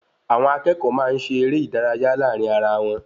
Àwọn akẹ́kọ̀ọ́ máa ń ṣe eré ìdárayá láàrin ará wọn